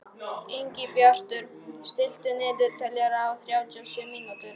Ingibjartur, stilltu niðurteljara á þrjátíu og sjö mínútur.